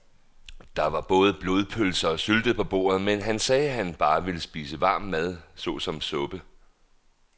Der var både blodpølse og sylte på bordet, men han sagde, at han bare ville spise varm mad såsom suppe.